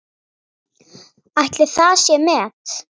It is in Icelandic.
Ætli það sé met?